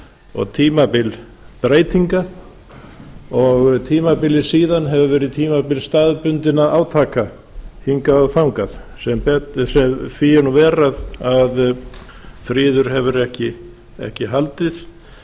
og tímabil breytinga og tímabilið síðan hefur verið tímabil staðbundinna átaka hingað og þangað því er nú verr að friður hefur ekki haldið